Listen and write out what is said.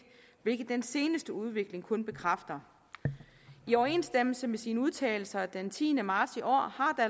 hvilket den seneste udvikling kun bekræfter i overensstemmelse med sine udtalelser den tiende marts i år